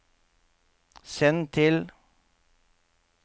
send til